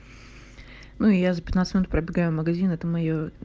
ну я за пятнадцать минут пробегаю магазины это моё